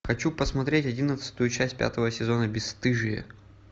хочу посмотреть одиннадцатую часть пятого сезона бесстыжие